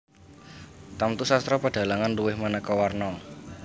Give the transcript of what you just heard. Tamtu sastra pedhalangan luwih maneka warna